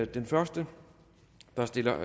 den første der stiller